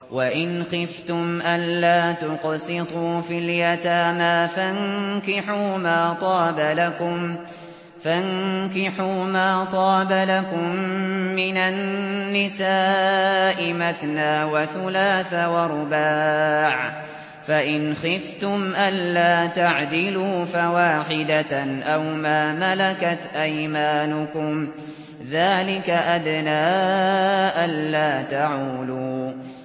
وَإِنْ خِفْتُمْ أَلَّا تُقْسِطُوا فِي الْيَتَامَىٰ فَانكِحُوا مَا طَابَ لَكُم مِّنَ النِّسَاءِ مَثْنَىٰ وَثُلَاثَ وَرُبَاعَ ۖ فَإِنْ خِفْتُمْ أَلَّا تَعْدِلُوا فَوَاحِدَةً أَوْ مَا مَلَكَتْ أَيْمَانُكُمْ ۚ ذَٰلِكَ أَدْنَىٰ أَلَّا تَعُولُوا